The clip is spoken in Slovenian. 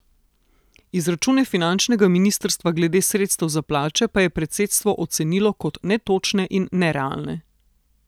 Izračune finančnega ministrstva glede sredstev za plače pa je predsedstvo ocenilo kot netočne in nerealne.